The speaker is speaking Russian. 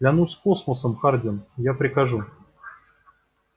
клянусь космосом хардин я прикажу